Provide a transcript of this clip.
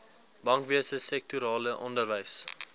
bankwese sektorale onderwys